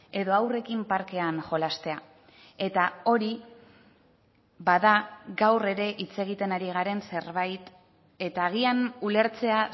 edo haurrekin parkean jolastea eta hori bada gaur ere hitz egiten ari garen zerbait eta agian ulertzea